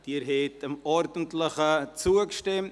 Abstimmung (Antrag BaK [Klauser, Bern];